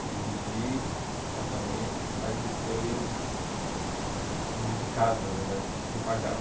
Eu dividi apartamento, aí depois dividi casa, na verdade, que a gente nem pagava.